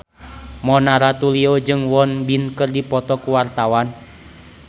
Mona Ratuliu jeung Won Bin keur dipoto ku wartawan